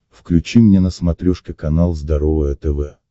включи мне на смотрешке канал здоровое тв